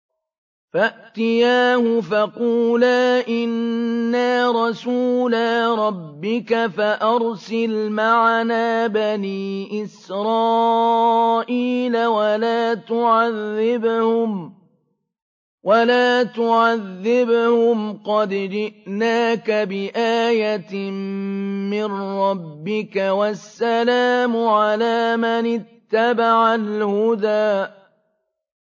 فَأْتِيَاهُ فَقُولَا إِنَّا رَسُولَا رَبِّكَ فَأَرْسِلْ مَعَنَا بَنِي إِسْرَائِيلَ وَلَا تُعَذِّبْهُمْ ۖ قَدْ جِئْنَاكَ بِآيَةٍ مِّن رَّبِّكَ ۖ وَالسَّلَامُ عَلَىٰ مَنِ اتَّبَعَ الْهُدَىٰ